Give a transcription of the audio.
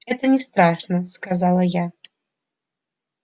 это не страшно сказала я